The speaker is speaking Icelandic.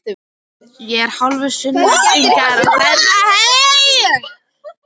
Ég er hálfur Sunnlendingur, sagði ég lágróma.